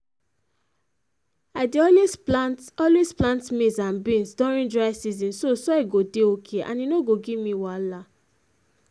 i dey always plant always plant maize and beans during dry season so soil go dey okay and e no go give me wahala